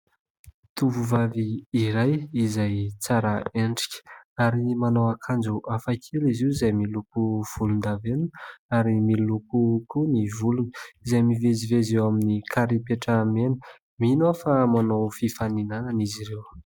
Tovovavy iray izay tsara endrika ary manao akanjo hafakely izy io izay miloko volondavenona ary miloko koa ny volony izay mivezivezy eo amin'ny karipetra mena. Mino aho fa manao fifaninana izy ireo.